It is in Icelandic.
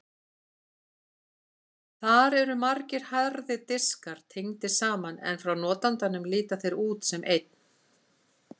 Þar eru margir harðir diskar tengdir saman en frá notandanum líta þeir út sem einn.